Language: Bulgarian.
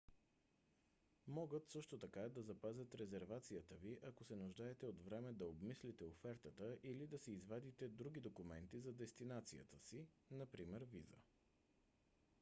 могат също така да запазят резервацията ви ако се нуждаете от време да обмислите офертата или да си извадите други документи за дестинацията си напр. виза